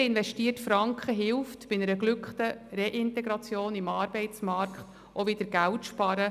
Jeder investierte Franken hilft bei einer geglückten Reintegration in den Arbeitsmarkt, auch wieder Geld zu sparen.